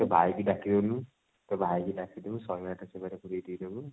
ତୋ ଭାଇ କୁ ଡାକି ଦଉନୁ ତୋ ଭାଇ କୁ ଡାକି ଦବୁ ଶହେ ଆଠ ଦେଇଦବୁ